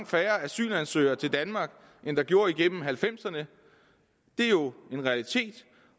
færre asylansøgere til danmark end der gjorde igennem halvfemserne det er jo en realitet